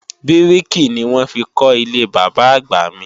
Bíríkì ni wọ́n fi kọ́ ilé Bàbá-àgbà mi